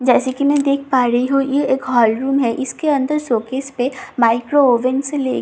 जैसे कि मैं देख पा रही हूं ये एक हॉल रूम है इसके अंदर शोकेस पर माइक्रोवेव से लेकर किचन --